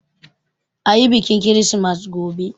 Ayi biƙin kirismas gobe!